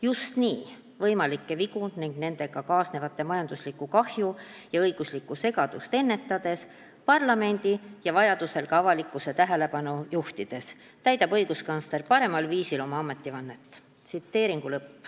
Just nii, võimalikke vigu ning nendega kaasnevat majanduslikku kahju ja õiguslikku segadust ennetades, parlamendi ja vajadusel ka avalikkuse tähelepanu juhtides, täidab õiguskantsler parimal viisil oma ametivannet.